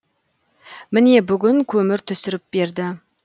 міне бүгін көмір түсіріп берді